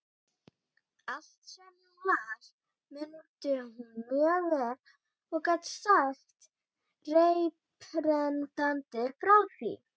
Allt, sem hún las, mundi hún mjög vel og gat sagt reiprennandi frá því.